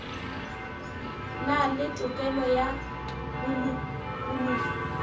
na le tokelo ya bolokologi